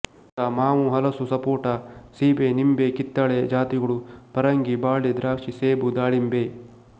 ಉದಾ ಮಾವು ಹಲಸು ಸಪೋಟ ಸೀಬೆ ನಿಂಬೆ ಕಿತ್ತಳೆ ಜಾತಿಗಳು ಪರಂಗಿ ಬಾಳೆ ದ್ರಾಕ್ಷಿ ಸೇಬು ದಾಳಿಂಬೆ